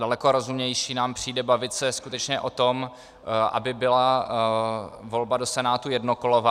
Daleko rozumnější nám přijde bavit se skutečně o tom, aby byla volba do Senátu jednokolová.